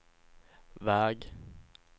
väg